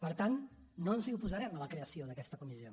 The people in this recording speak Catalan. per tant no ens hi oposarem a la creació d’aquesta comissió